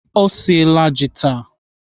Ọ siela ji taa.